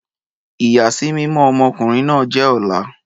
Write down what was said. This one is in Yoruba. Ìyàsímímọ́ ọmọ ọkùnrin náà jẹ́ ọ̀la